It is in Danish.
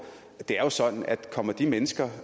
det er jo sådan at kommer de mennesker